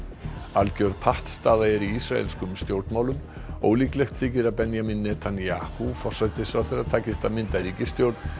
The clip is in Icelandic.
algjör pattstaða er í ísraelskum stjórnmálum ólíklegt þykir að Benjamín Netanyahu forsætisráðherra takist að mynda ríkisstjórn